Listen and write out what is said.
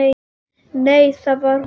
Nei, það var hún ekki.